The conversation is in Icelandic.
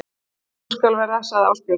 Svo skal vera sagði Ásbjörn.